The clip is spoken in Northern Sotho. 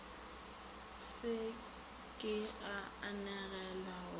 se ke a anegelwa go